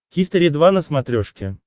хистори два на смотрешке